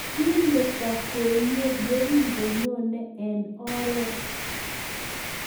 Kimeto kwenye ye kingonyone eng oret,